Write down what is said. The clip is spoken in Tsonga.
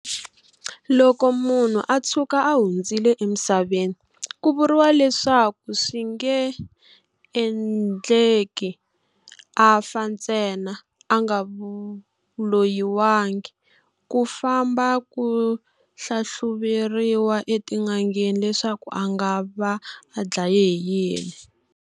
Loko munhu a tshuka a hundzile emisaveni ku vuriwa leswaku swi nge endleki a fa ntsena a nga loyiwangi, ku famba ku halhluveriwa etin'angeni leswaku a nga va a dlayiwile hi yini.